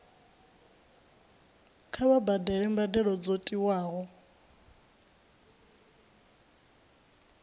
kha vha badele mbadelo dzo tiwaho